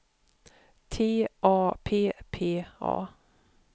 T A P P A